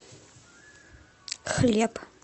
хлеб